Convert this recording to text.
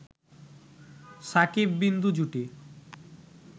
শাকিব-বিন্দু জুটি